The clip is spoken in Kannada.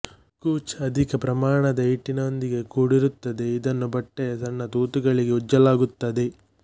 ಕೂಚ್ ಅಧಿಕ ಪ್ರಮಾಣದ ಹಿಟ್ಟಿನೊಂದಿಗೆ ಕೂಡಿರುತ್ತದೆ ಇದನ್ನು ಬಟ್ಟೆಯ ಸಣ್ಣ ತೂತುಗಳಿಗೆ ಉಜ್ಜಲಾಗುತ್ತದೆ